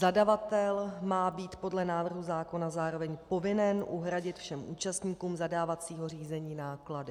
Zadavatel má být podle návrhu zákona zároveň povinen uhradit všem účastníkům zadávacího řízení náklady.